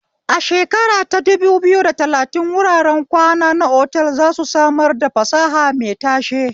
A shekara ta dubu biyu da talatin, wuraren kwana na otal za su samar da fasaha mai tashe.